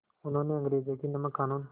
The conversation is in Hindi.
उन्होंने अंग्रेज़ों के नमक क़ानून